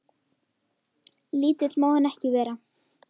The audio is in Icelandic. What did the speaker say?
Lítill má hann ekki vera.